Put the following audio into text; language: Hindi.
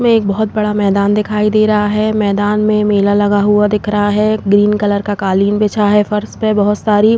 इसमें एक बहोत बड़ा मैदान दिखाई दे रहा है। मैदान में मेला लगा हुआ दिख रहा है। ग्रीन कलर का कालीन बिछा है फ़र्श पे बहोत सारी --